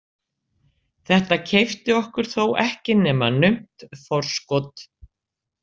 Þetta keypti okkur þó ekki nema naumt forskot.